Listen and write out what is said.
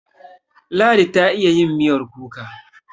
Ladi ta iya yin miyar kuka.